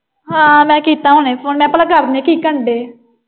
ਹਾਂ, ਮੈਂ ਕੀਤਾ ਹੁਣੇ Phone ਮੈਂ ਭਲਾ ਕੀ ਕਰਨ ਡਏ।